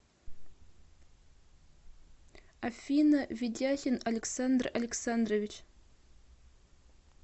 афина ведяхин александр александрович